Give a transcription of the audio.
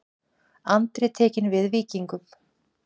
Andri tekinn við Víkingum